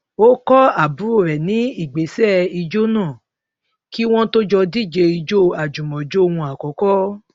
ó kọ àbúrò rẹ ní ìgbésẹ ìjó náà kí wọn tó jọ díje ijó àjùmọjó wọn akọkọ